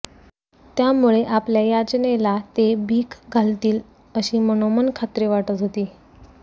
त्यामुळे आपल्या याचनेला ते भीक घालतील अशी मनोमन खात्री वाटत होती